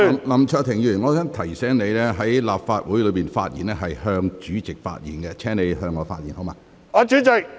林卓廷議員，我想提醒你，在立法會會議上發言時必須面向主席。